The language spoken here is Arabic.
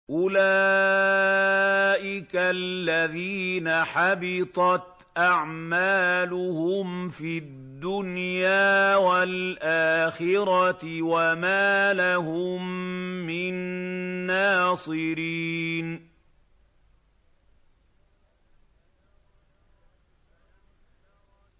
أُولَٰئِكَ الَّذِينَ حَبِطَتْ أَعْمَالُهُمْ فِي الدُّنْيَا وَالْآخِرَةِ وَمَا لَهُم مِّن نَّاصِرِينَ